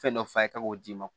Fɛn dɔ f'a ye k'o d'i ma